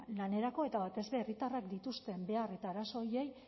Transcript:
lanerako eta batez ere herritarrek dituzten behar eta arazo horiei